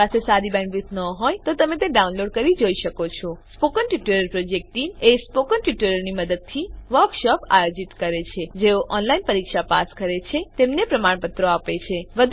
જો તમારી બેન્ડવિડ્થ સારી ન હોય તો તમે ડાઉનલોડ કરી તે જોઈ શકો છો spoken tutorial project team spoken ટ્યુટોરીયલોનાં મદદથી વર્કશોપોનું આયોજન કરે છે જેઓ ઓનલાઈન પરીક્ષા પાસ કરે છે તેમને પ્રમાણપત્રો આપે છે